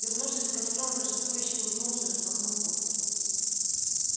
вернувшись к костру он торжествующе улыбнулся и распахнул куртку